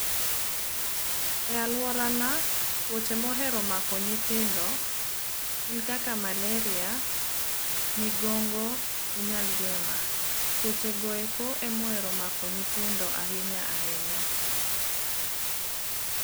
E alworana tuoche mohero mako nyithindo, en kaka maleria, migongo gi nyaldiema. Tuochegoeko emohero mako nyithindo ahinya ahinya.